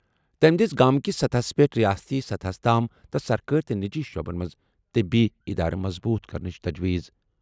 تٔمۍ دِژ گامہٕ کِس سطحس پٮ۪ٹھ ریاستی سطحس تام تہٕ سرکٲری تہٕ نجی شعبن منٛز طبی ادارٕ مضبوٗط کرنٕچ تجویٖز۔